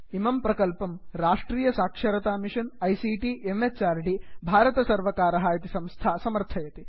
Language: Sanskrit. इमं प्रकल्पं राष्ट्रीय साक्षरता मिषन् आईसीटी म्हृद् भारतसर्वर्कारः इति संस्था समर्थयति